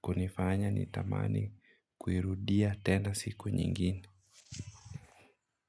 kunifanya nitamani kuirudia tena siku nyingine.